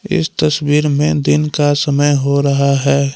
इस तस्वीर में दिन का समय हो रहा है।